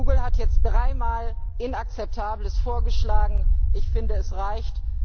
Google hat jetzt dreimal Inakzeptables vorgeschlagen ich finde, es reicht!